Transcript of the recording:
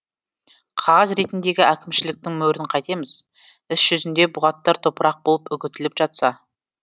қағаз ретіндегі әкімшіліктің мөрін қайтеміз іс жүзінде бұғаттар топырақ болып үгітіліп жатса